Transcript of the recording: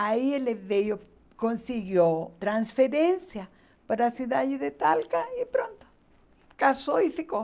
Aí ele veio, conseguiu transferência para a cidade de Talca e pronto, casou e ficou.